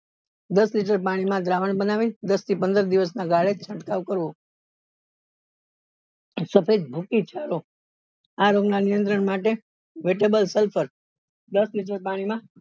દસ લીટર પાણી માં દ્રાવણ બનાવી દસ થી પંદર દિવસ ના ગાળે છટકાવ કરવો સફેદ ભૂકી ચાળો આ રોગ ના નિયંત્રણ માટે દસ લીટર પાણી માં